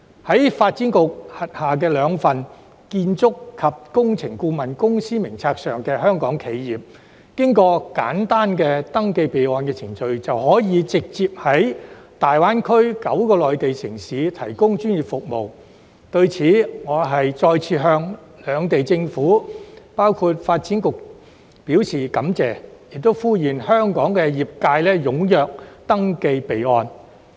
在發展局轄下的兩份建築及工程顧問公司名冊上的香港企業，經過簡單的登記備案程序，便可以直接在大灣區9個內地城市提供專業服務。對此我再次向兩地政府，包括發展局，表示感謝，並呼籲香港業界踴躍登記備案。